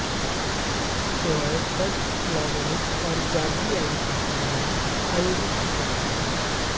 सेवाएं church Slavonic और जॉर्जियाई भाषाओं में आयोजित की जाती हैं